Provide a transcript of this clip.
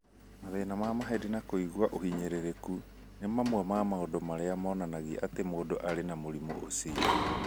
Mathĩna ma mahĩndĩ na kũigua ũhinyĩrĩrĩku nĩ mamwe ma maũndũ marĩa monanagia atĩ mũndũ arĩ na mũrimũ ũcio